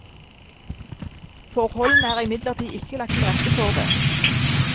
Forholdene er imidlertid ikke lagt til rette for det.